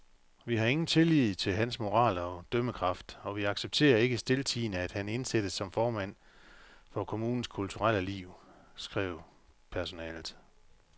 Vi har ingen tillid til hans moral og dømmekraft, og vi accepterer ikke stiltiende, at han indsættes som formand for kommunens kulturelle liv, skrev personalet.